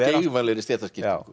geigvænlegri stéttaskiptingu